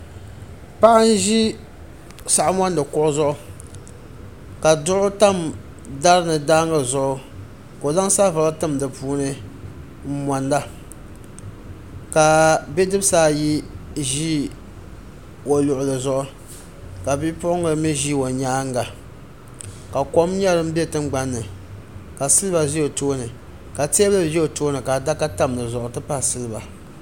Paɣa n zi saɣim mondi kuɣu zuɣu ka duɣu tami dari ni daangi zuɣu ka o zaŋ saɣim buɣili tim di puuni n mondi ka bi dibisi ayi zi o luɣuli zuɣu ka bi puɣinga mi zi o yɛanga ka kom nyɛ dini bɛ tiŋgbani ni ka siliba zi o tooni ka tɛɛbuli zɛ o tooni ka adaka tami di zuɣu n ti pahi siliba.